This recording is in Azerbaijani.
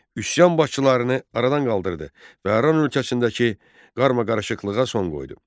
Üsyan başçılarını aradan qaldırdı və Aran ölkəsindəki qarmaqarışıqlığa son qoydu.